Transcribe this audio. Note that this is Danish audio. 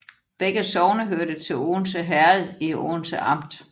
Begge sogne hørte til Odense Herred i Odense Amt